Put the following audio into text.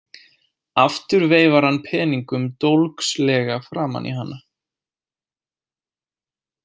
Aftur veifar hann peningum dólgslega framan í hana.